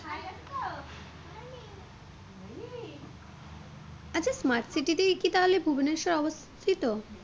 আচ্ছা smart city তেই কি তাহলে ভুবনেশ্বর অবস্থিত?